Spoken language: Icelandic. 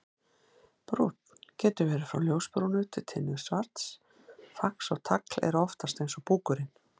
Brúnn: Getur verið frá ljósbrúnu til tinnusvarts, fax og tagl eru oftast eins og búkurinn.